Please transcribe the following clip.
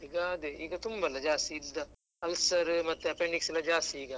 ಈಗ ಅದೇ ಈಗ ತುಂಬಾ ಎಲ್ಲ ulcer ಮತ್ತೆ appendix ಎಲ್ಲಾ ಜಾಸ್ತಿ ಈಗ.